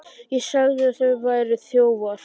ÉG SAGÐI AÐ ÞIÐ VÆRUÐ ÞJÓFAR.